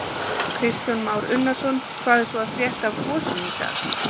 Kristján Már Unnarsson: Hvað er svo að frétta af gosinu í dag?